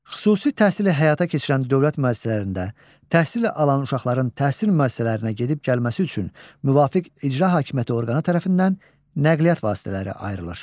Xüsusi təhsili həyata keçirən dövlət müəssisələrində təhsil alan uşaqların təhsil müəssisələrinə gedib-gəlməsi üçün müvafiq icra hakimiyyəti orqanı tərəfindən nəqliyyat vasitələri ayrılır.